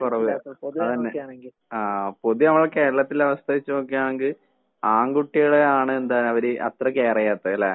കൊറവ് അതെന്നെ ആഹ് പൊതുവെ നമ്മടെ കേരളത്തിലെ അവസ്ഥ വച്ച് നോക്കാണെങ്കി ആൺകുട്ടികളെയാണ് എന്താണ് അവര് അത്ര കെയറ് ചെയ്യാത്തത് അല്ലേ?